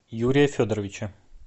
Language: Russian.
юрия федоровича